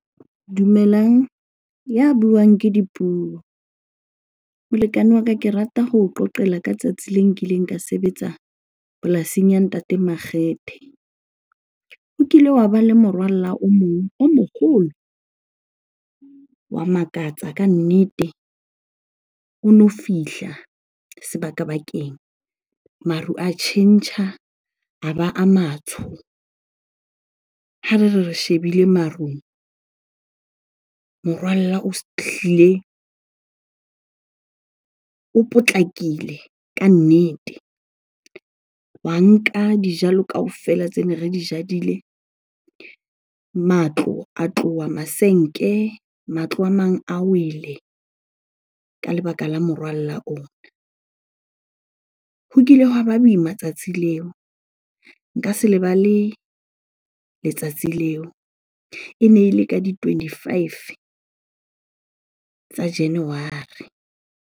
Dumelang, ya buang ke Dipuo. Molekane wa ka, ke rata ho o qoqela ka tsatsi le nkileng ka sebetsa polasing ya Ntate Makgethe. O kile wa ba le morwalla o mong o moholo, wa makatsa kannete. Ono fihla sebaka-bakeng, maru a tjhentjha a ba a matsho. Hare re re shebile marung, morwalla o potlakile ka nnete. Wa nka dijalo kaofela tsene re di jadile, matlo a tloha masenke, matlo a mang a wele ka lebaka la morwalla oo. Ho kile hwa ba boima tsatsi leo, nka se lebale letsatsi leo. Ene e le ka di-twenty-five tsa January.